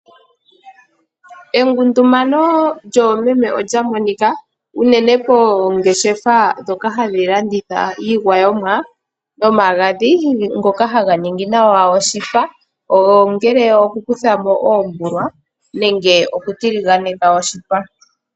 Engundumano lyoomeme olya monika uunene koongeshefa dhoka hadhi landitha iigwayomwa nomagadhi ngoka haga ningi nawa oshipa, ngele oku kuthamo oombulwa nenge oku tiliganeka oshipa.